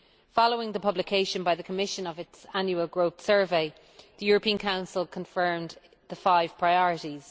Following the publication by the Commission of its Annual Growth Survey, the European Council has confirmed the five priorities.